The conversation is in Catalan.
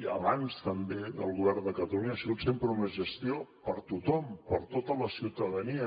i abans també del govern de catalunya ha sigut sempre una gestió per a tothom per a tota la ciutadania